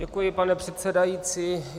Děkuji, pane předsedající.